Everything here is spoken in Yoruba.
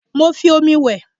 Mo ń fi omi wẹ̀